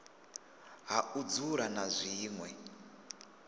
ha u dzula na zwinwe